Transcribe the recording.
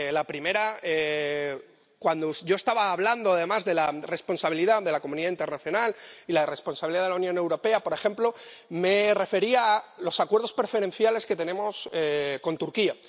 La primera cuando yo estaba hablando de la responsabilidad de la comunidad internacional y la responsabilidad de la Unión Europea, por ejemplo, me refería a los acuerdos preferenciales que tenemos con Turquía.